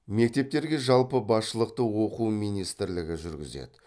мектептерге жалпы басшылықты оқу министірлігі жүргізеді